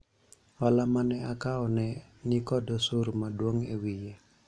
hola mane akawo ne nikod osuru maduong' ewiye